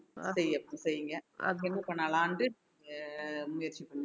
செய்~ செய்யுங்க என்ன பண்ணலாம்ன்னுட்டு அஹ் முயற்சி பண்ணுங்க